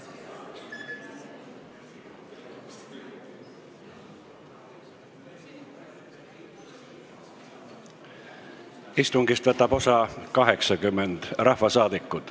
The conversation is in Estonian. Kohaloleku kontroll Istungist võtab osa 80 rahvasaadikut.